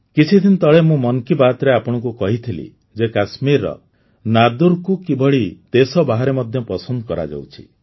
କିଛିଦିନ ତଳେ ମୁଁ ମନ୍ କୀ ବାତ୍ରେ ଆପଣଙ୍କୁ କହିଥିଲି ଯେ କାଶ୍ମୀରର ନାଦ୍ରୁକୁ କିଭଳି ଦେଶ ବାହାରେ ମଧ୍ୟ ପସନ୍ଦ କରାଯାଉଛି